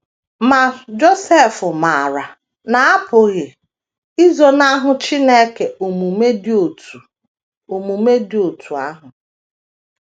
Ma, Josef maara na a pụghị izonahụ Chineke omume dị otú omume dị otú ahụ.